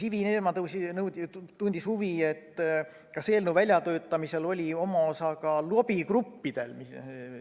Ivi Eenmaa tundis huvi, kas eelnõu väljatöötamisel oli oma osa ka lobigruppidel.